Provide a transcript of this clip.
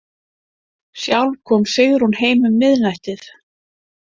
Sjálf kom Sigrún heim um miðnættið.